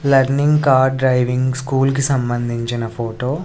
Learning car driving school కి సంబంధించిన photo .